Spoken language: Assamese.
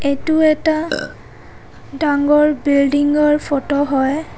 এইটো এটা ডাঙৰ বিল্ডিং ৰ ফটো হয়.